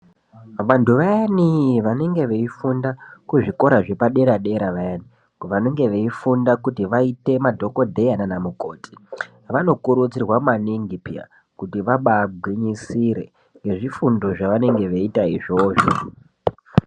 Vantu vayani vanenge veifunda kuzvikora zvepadera-dera vayani vanenge veifunda kuti vaite madhogodheya naana mukoti, vanokurudzirwa maningi peya kuti vabaagwinyisire ngezvifundo zvavanenge veiita izvozvo.